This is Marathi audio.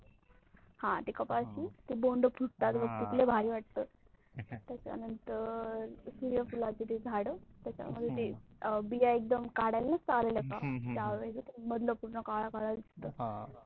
हा ते कपाशी बोंड फुटतात आह ते खुप भारी वाटत, त्याच्या नंतर सूर्य फुलाच ते झाड, त्याच्या मध्ये बिया एकदम काद्यला नसते आलेल्या आह आह का त्यावेळी ते मधल पूर्ण काळ काळ दिसते.